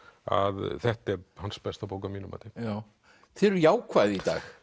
að þetta er hans besta bók að mínu mati já þið eruð jákvæð í dag